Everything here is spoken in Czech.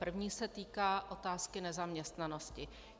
První se týká otázky nezaměstnanosti.